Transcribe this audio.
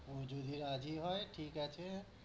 ও যদি রাজি হয়, ঠিক আছে।